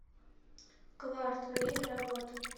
кварт время работы